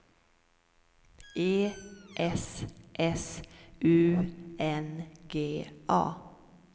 E S S U N G A